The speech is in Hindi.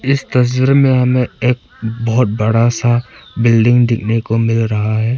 इस तस्वीर में हमें एक बहोत बड़ा सा बिल्डिंग देखने को मिल रहा है।